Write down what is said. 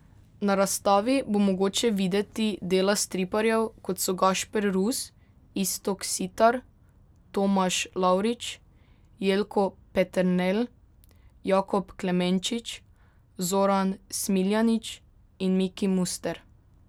Na razstavi bo mogoče videti dela striparjev, kot so Gašper Rus, Iztok Sitar, Tomaž Lavrič, Jelko Peternelj, Jakob Klemenčič, Zoran Smiljanić in Miki Muster.